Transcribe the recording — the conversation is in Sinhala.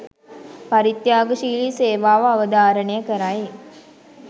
පරිත්‍යාගශීලී සේවාව අවධාරණය කරයි.